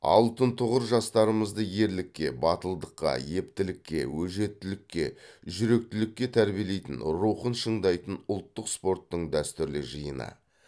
алтын тұғыр жастарымызды ерлікке батылдыққа ептілікке өжеттікке жүректілікке тәрбиелейтін рухын шыңдайтын ұлттық спорттың дәстүрлі жиыны